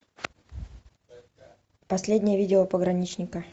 последнее видео пограничника